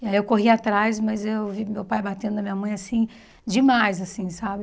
E aí eu corri atrás, mas eu vi meu pai batendo na minha mãe, assim, demais, assim, sabe?